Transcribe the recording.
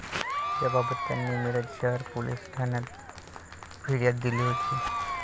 याबाबत त्यांनी मिरज शहर पोलीस ठाण्यात फिर्याद दिली होती.